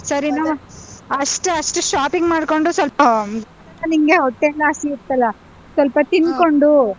ಸರಿ ಅಷ್ಟೇ ಅಷ್ಟ್ shopping ಮಾಡ್ಕೊಂಡು ಸ್ವಲ್ಪ ಹಿಂಗೆ ಹೊಟ್ಟೆಯೆಲ್ಲ ಹಸಿಯುತ್ತಲ್ಲಾ, ಸ್ವಲ್ಪ ತಿನ್ಕೊಂಡು.